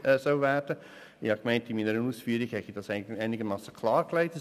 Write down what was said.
Ich dachte, dass ich dies in meinen Ausführungen einigermassen klar ausgedrückt habe.